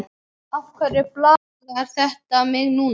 Af hverju plagar þetta mig núna?